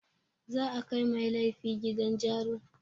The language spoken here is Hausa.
Za a kai mai laifi gidan jarun.